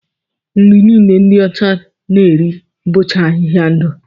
Nri niile ndi ọcha na-eri bụcha ahịhịa ndụ